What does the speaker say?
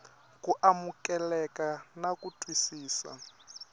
ku amukeleka na ku twisisa